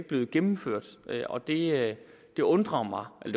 blevet gennemført og det det undrer mig og